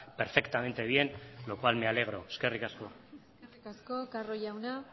perfectamente bien lo cual me alegro eskerrik asko eskerri asko carro jauna